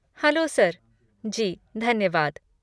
Hello, sir! जी, धन्यवाद।